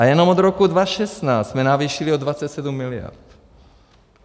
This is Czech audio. A jenom od roku 2016 jsme navýšili o 27 miliard.